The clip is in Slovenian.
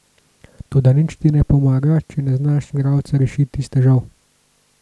Toda nič ti ne pomaga, če ne znaš igralca rešiti iz težav.